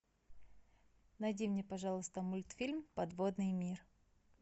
найди мне пожалуйста мультфильм подводный мир